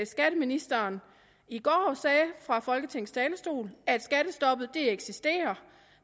skatteministeren i går sagde fra folketingets talerstol at skattestoppet eksisterer